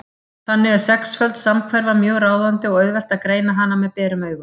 Þannig er sexföld samhverfa mjög ráðandi og auðvelt að greina hana með berum augum.